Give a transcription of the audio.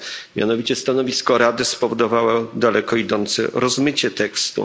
Mianowicie stanowisko Rady spowodowało daleko idące rozmycie tekstu.